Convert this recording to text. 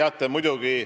Aitäh!